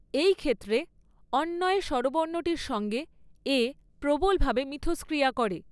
এই ক্ষেত্রে অণ্বয়ে স্বরবর্ণটির সঙ্গে এ প্রবলভাবে মিথস্ক্রিয়া করে।